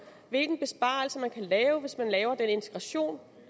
hvilken besparelse man kan lave hvis man laver den integration